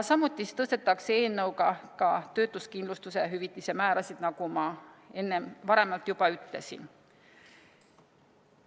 Samuti tõstetakse eelnõuga töötuskindlustushüvitise määrasid, nagu ma enne juba ütlesin.